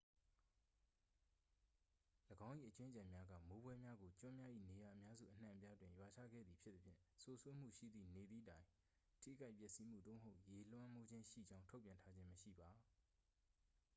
၎င်း၏ အကြွင်းအကျန်များက မိုးဖွဲများကို ကျွန်းများ၏ နေရာအများစုအနှံ့အပြားတွင် ရွာချခဲ့သည်ဖြစ်သဖြင့် စိုစွတ်မှုရှိသည့်နေသည့်တိုင် ထိခိုက်ပျက်စီးမှု သို့မဟုတ် ရေလွှမ်းမိုးခြင်းရှိကြောင်း ထုတ်ပြန်ထားခြင်းမရှိပါ